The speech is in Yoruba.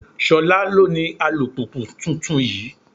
Ṣolá ló ní alùpùpù tuntun yìí.